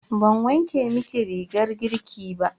Ban wanke miki rigar girki ba.